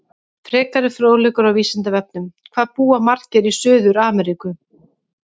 Frekari fróðleikur á Vísindavefnum: Hvað búa margir í Suður-Ameríku?